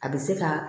A bɛ se ka